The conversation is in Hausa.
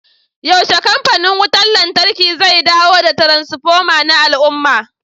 yaushe kamfanin wutar lantarki zai dawo da transfoma na al'umma